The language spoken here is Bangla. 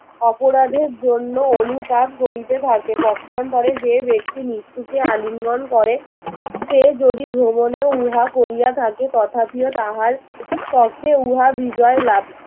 অপরাধের জন্য অনুতাপ করিতে থাকে পক্ষান্তরে যে ব্যক্তি মৃত্যুকে আলিঙ্গন করে সে যদি ভ্রমণে উহা করিয়া থাকে তথাপিও তাহার পক্ষে উহার বিজয়লাভ